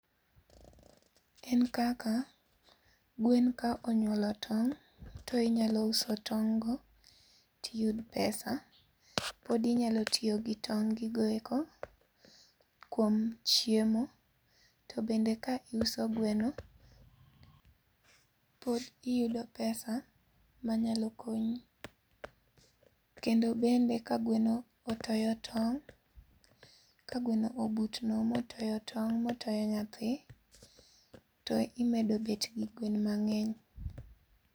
En kaka gwenka onyuolo tong' to inyalo uso tong' go to iyudo pesa pod inyalo tiyo gi tong' gigo eko kuom chiemo. To bende ka iuso gweno pod iyudo pesa manyalo konyi. Kendo bende ka gweno otoyo tong' ka gweno obutno mooyo tong' motoyo nyathi, to imedo bet gi gwen mang'eny.